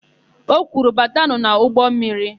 O kwuru, "batanụ n'ụgbọmmiri"!